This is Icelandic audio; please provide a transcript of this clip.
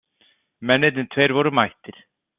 Mennirnir tveir voru mættir.